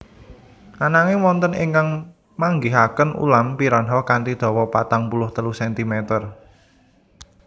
Ananging wonten ingkang manggihaken ulam piranha kanthi dawa patang puluh telu sentimeter